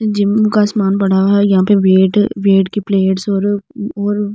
Gym विम का सामान पड़ा हुआ है यहां पर वेट वेट की प्लेट्स और और बहुत।